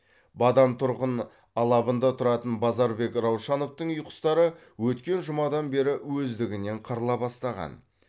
бадам тұрғын алабында тұратын базарбек раушановтың үй құстары өткен жұмадан бері өздігінен қырыла бастаған